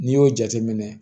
N'i y'o jateminɛ